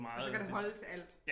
Og så kan det holde til alt